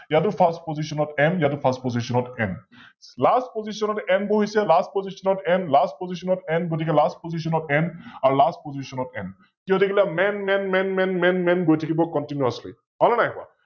ইয়াতো FirstPostion ত M ইয়াতো FirstPostion ত M । LastPostion ত N বহিছে LastPostion ত NLastPostion ত N গতিকে LastPostion ত N আৰু LastPostion ত N । কি হৈ থাকিল MNMNMNMNMN গৈ থাকিব Continously হল নে নাই কোৱা?